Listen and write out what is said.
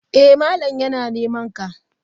Eh malam yana nemanka.